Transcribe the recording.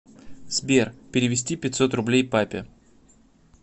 сбер перевести пятьсот рублей папе